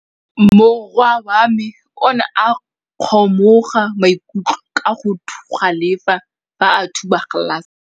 Morwa wa me o ne a kgomoga maikutlo ka go galefa fa a thuba galase.